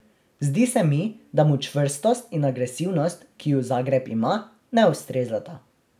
Zdi se mi, da mu čvrstost in agresivnost, ki ju Zagreb ima, ne ustrezata.